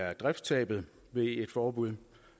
er driftstabet ved et forbud